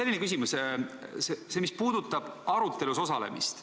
Mul on küsimus, mis puudutab arutelus osalemist.